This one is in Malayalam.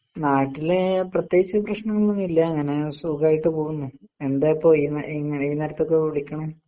നാട്ടില് പ്രത്യേകിച്ച് പ്രശ്നങ്ങമൊന്നുമില്ലങ്ങനെ സുഖായിട്ട് പോകുന്നു.എന്തായിപ്പോ ഈന ഈന ഈ നേരത്തൊക്കെ വിളിക്കണേ?